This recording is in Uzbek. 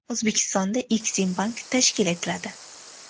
O‘zbekistonda Eksimbank tashkil etiladi.